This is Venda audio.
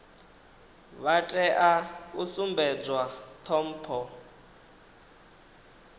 vha tea u sumbedzwa ṱhompho